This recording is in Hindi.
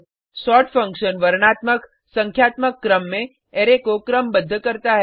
सोर्ट फंक्शन वर्णात्मकसंख्यात्मक क्रम में अरै को क्रमबद्ध करता है